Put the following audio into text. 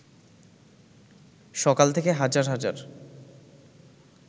সকাল থেকে হাজার হাজার